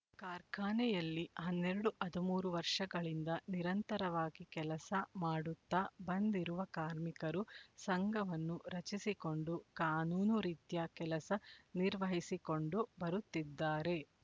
ಕಾರ್ಖಾನೆಯಲ್ಲಿ ಹನ್ನೆರಡು ಹದ್ ಮೂರು ವರ್ಷಗಳಿಂದ ನಿರಂತರವಾಗಿ ಕೆಲಸ ಮಾಡುತ್ತಾ ಬಂದಿರುವ ಕಾರ್ಮಿಕರು ಸಂಘವನ್ನು ರಚಿಸಿಕೊಂಡು ಕಾನೂನು ರೀತ್ಯ ಕೆಲಸ ನಿರ್ವಹಿಸಿಕೊಂಡು ಬರುತ್ತಿದ್ದಾರೆ